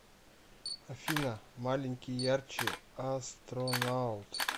афина маленький ярче астронаут